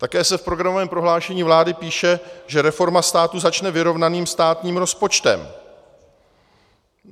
Také se v programovém prohlášení vlády píše, že reforma státu začne vyrovnaným státním rozpočtem.